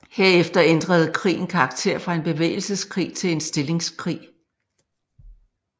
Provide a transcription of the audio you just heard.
Herefter ændrede krigen karakter fra en bevægelseskrig til en stillingskrig